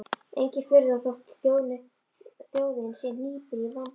Engin furða þótt þjóðin sé hnípin og í vanda.